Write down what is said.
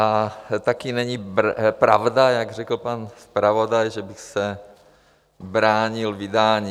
A taky není pravda, jak řekl pan zpravodaj, že bych se bránil vydání.